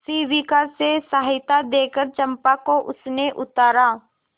शिविका से सहायता देकर चंपा को उसने उतारा